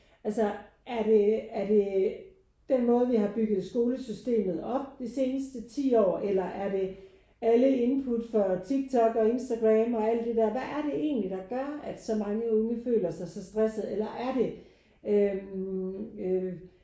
Altså er det er det den måde vi har bygget skolesystemet op de seneste 10 år? Eller er det alle input fra TikTok og Instagram og alle de der hvad er det egentlig der gør at så mange unge føler sig så stresset? Eller er det øh øh